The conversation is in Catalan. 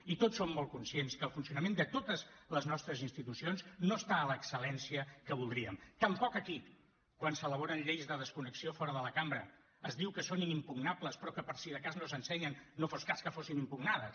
i tots som molt conscients que el funcionament de totes les nostres institucions no està a l’excel·lència que voldríem tampoc aquí quan s’elaboren lleis de desconnexió fora de la cambra es diu que són inimpugnables però que per si de cas no s’ensenyen no fos cas que fossin impugnades